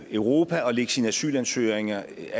europa og lægge sine asylansøgninger